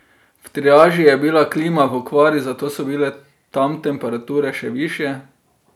V triaži je bila klima v okvari, zato so bile tam temperature še višje.